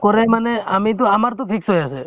নকৰে মানে আমিতো আমাৰতো fix হৈ আছে